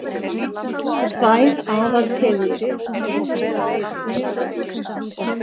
Tvær aðaltegundir eru til af ediki.